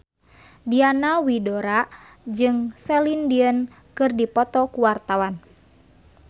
Diana Widoera jeung Celine Dion keur dipoto ku wartawan